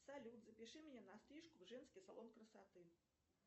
салют запиши меня на стрижку в женский салон красоты